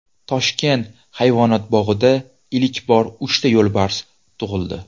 Toshkent hayvonot bog‘ida ilk bor uchta yo‘lbars tug‘ildi.